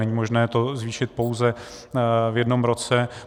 Není možné to zvýšit pouze v jednom roce.